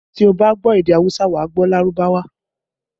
Tí o bá gbọ́ èdè awusa, wà á gbọ́ Lárúbáwá